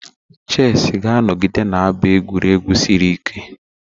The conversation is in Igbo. Chesị ga-anọgide na-abụ egwuregwu siri ike.